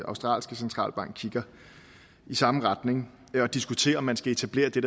australske centralbank kigger i samme retning og diskuterer om man skal etablere det